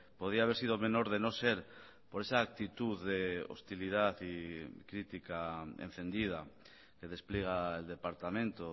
podía haber sido menor de no ser por esa actitud de hostilidad y crítica encendida que despliega el departamento